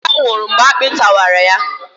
Emeka nwụrụ mgbe akpị tarawa ya